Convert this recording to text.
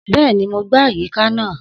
Bẹ́ẹ̀ni, mo gbá àyíká náà